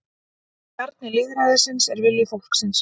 Kjarni lýðræðisins er vilji fólksins